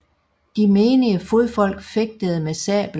De menige fodfolk fægtede med sabel